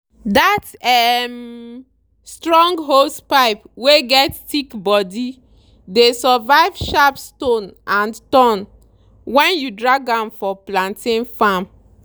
that um strong hosepipe wey get thick body dey survive sharp stone and thorn when you drag am for plantain farm.